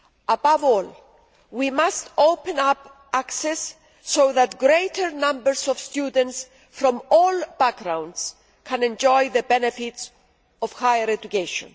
Above all, we must open up access so that greater numbers of students from all backgrounds can enjoy the benefits of higher education.